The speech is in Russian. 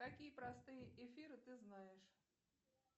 какие простые эфиры ты знаешь